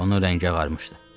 Onun rəngi ağarmışdı.